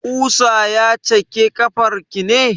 Ƙusa ya cake ƙafar ki ne?